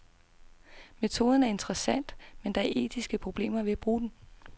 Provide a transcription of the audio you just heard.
Metoden er interessant, men der er etiske problemer ved at bruge den.